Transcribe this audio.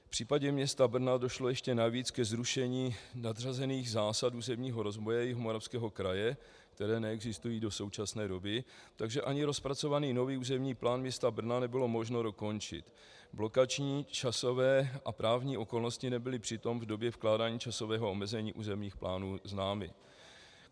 V případě města Brna došlo ještě navíc ke zrušení nadřazených zásad územního rozvoje Jihomoravského kraje, které neexistují do současné doby, takže ani rozpracovaný nový územní plán města Brna nebylo možno dokončit. Blokační, časové a právní okolnosti nebyly přitom v době vkládání časového omezení územních plánů známy.